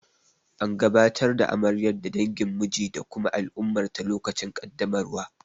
An gabatar da amaryar ga dangin miji da kuma al'ummarta lokacin kaddamarwar.